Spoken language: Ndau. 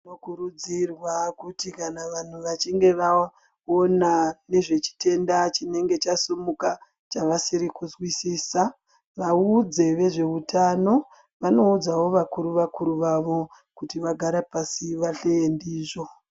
Tinokurudzirwa kuti vanhu kana vachinge vaona nezvechitenda chinenge chasimuka chavasiri kuzwisisa vaudze vezveutano vanoudzawo vakuru vakuru vavo kuti vagare pasi vahleye ndizvo.